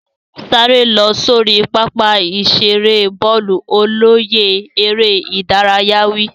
Sáré lọ sórí pápá ìṣeré bọ́ọ̀lù. Olóyè eré ìdárayá wí.